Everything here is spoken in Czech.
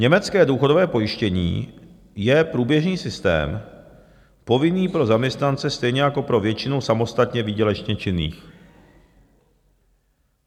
Německé důchodové pojištění je průběžný systém povinný pro zaměstnance, stejně jako pro většinu samostatně výdělečně činných.